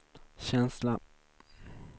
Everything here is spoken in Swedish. känsla